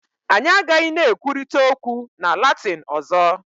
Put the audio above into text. Anyị agaghị na-ekwurịta okwu na Latin ọzọ